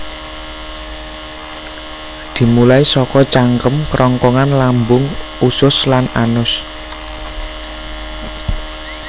Dimulai saka cangkem kerongkongan lambung usus lan anus